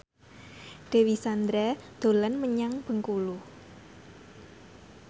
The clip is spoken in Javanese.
Dewi Sandra dolan menyang Bengkulu